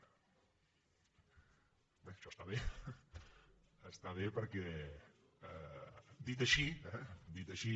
bé això està bé està bé perquè dit així eh dit així